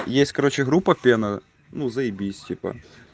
есть короче группа пена ну заибись типа